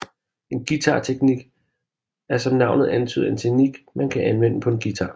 En guitarteknik er som navnet antyder en teknik man kan anvende på en guitar